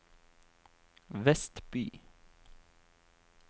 Vestby